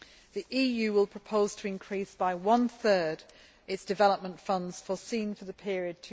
The EU will propose to increase by one third its development funds foreseen for the period